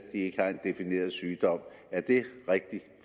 ikke har en defineret sygdom er det rigtigt